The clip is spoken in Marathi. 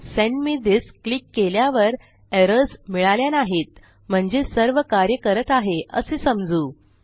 सेंड मे थिस क्लिक केल्यावर एरर्स मिळाल्या नाहीत म्हणजे सर्व कार्य करत आहे असे समजू